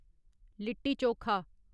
litti chokha